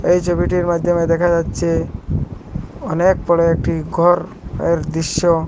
এই ছবিটির মাইধ্যমে দেখা যাচ্ছে অনেক বড় একটি ঘর এর দৃশ্য।